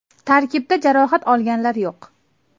Tarkibda jarohat olganlar yo‘q.